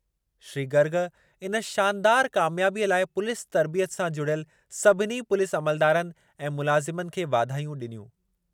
श्री गर्ग इन शानदारु क़ामयाबीअ लाइ पुलीस तर्बियत सां जुड़ियल सभिनी पुलीस अमलदारनि ऐं मुलाज़िमनि खे वाधायूं ॾिनियूं।